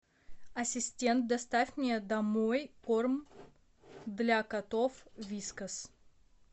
ассистент доставь мне домой корм для котов вискас